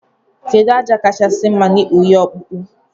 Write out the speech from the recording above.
Kedu aja kachasi mma na ikpụ ihe ọkpụkpụ?